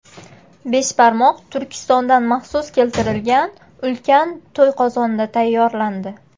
Beshbarmoq Turkistondan maxsus keltirilgan, ulkan To‘yqozonda tayyorlandi.